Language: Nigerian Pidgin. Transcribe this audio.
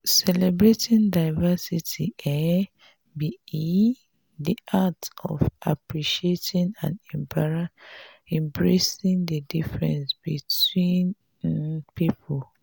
celebrating diversity um be um di act of appreciating and embracing di differences between um people.